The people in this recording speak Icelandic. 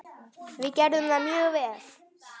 Við gerðum það mjög vel.